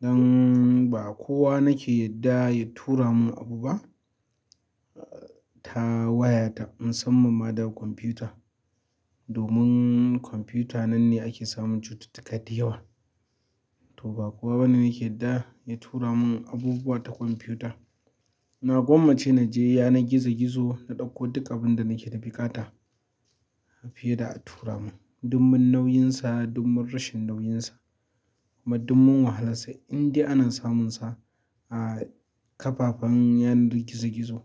Don ba kowa nake yadda ya tura mun abu ba ta wayata, musamman ma daga kwamfuta. Domin kwamfuta nan ne ake samun cututtuka da yawa. To ba kowa bane nake yarda ya tura mun abubuwa ta kwamfuta. Na gwammace na je yanar gizo gizo, na ɗauko duk abun da nake da buƙata fiye da a tura mun. Domin nauyinsa, domin rashin nauyinsa kuma domin wahalarsa, indai ana samunsa a kafafen yanar gizo gizo.